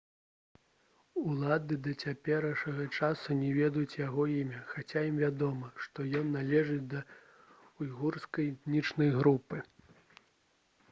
улады да цяперашняга часу не ведаюць яго імя хаця ім вядома што ён належыць да ўйгурскай этнічнай групы